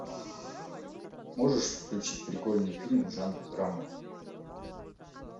можешь включить прикольный фильм в жанре драма